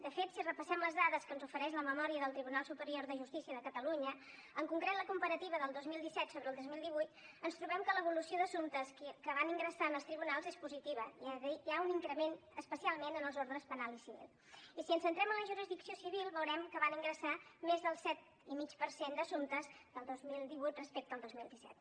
de fet si repassem les dades que ens ofereix la memòria del tribunal superior de justícia de catalunya en concret la comparativa del dos mil disset sobre el dos mil divuit ens trobem que l’evolució d’assumptes que van ingressar en els tribunals és positiva hi ha un increment especialment en els ordres penal i civil i si ens centrem en la jurisdicció civil veurem que van ingressar hi més del set i mig per cent d’assumptes el dos mil divuit respecte al dos mil disset